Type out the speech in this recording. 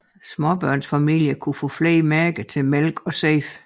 Småbørnsfamilier kunne få flere mærker til mælk og sæbe